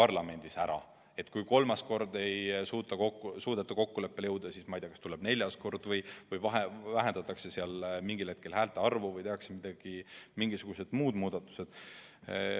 Näiteks kui kolmas kord ei suudeta kokkuleppele jõuda, siis, ma ei tea, kas tuleb neljas kord või vähendatakse mingil hetkel häälte arvu või tehakse mingisugused muud muudatused.